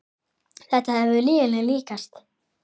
Þetta hefur verið lyginni líkast.